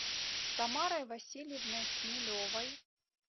тамарой васильевной хмелевой